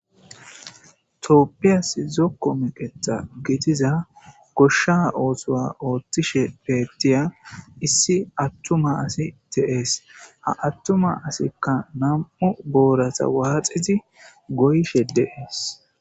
tooppiyas zokko meqeta gitiza goshsha oosowa oothtishe peettiya issi attuma asi te7ees ha attuma asikka nam7u boorata waaxizi goyshe deees